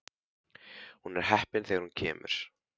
Hún er heppin þegar hún kemur út.